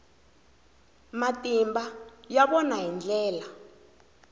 matimba ya vona hi ndlela